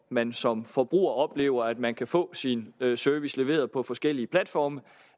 man som forbruger oplever at man kan få sin service leveret på forskellige platforme og